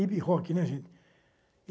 hip-hop, né, gente?